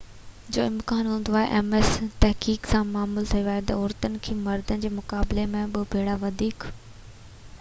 تحقيق مان معلوم ٿيو آهي تہ عورتن کي مردن جي مقابلي ۾ ٻہ ڀيرا وڌيڪ ms جو امڪان هوندو آهي